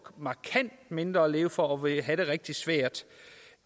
markant mindre at leve for og vil få det rigtig svært